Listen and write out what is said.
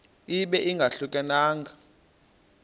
ibe ingahluka nanga